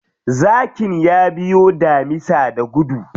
Zakin ya biyo damisa da gudu.